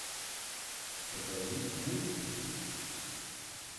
покажи мультик